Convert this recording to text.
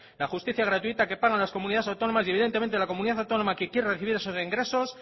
la justicia gratuita que pagan las comunidades autónomas y evidentemente la comunidad autónoma que quiere recibir esos ingresos